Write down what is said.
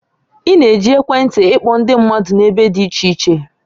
Ị na-eji ekwentị ịkpọ ndị mmadụ n'ebe dị iche iche